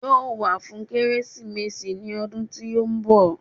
Yóò wá fún Kérésìmesì ní ọdún tí ó ń bọ̀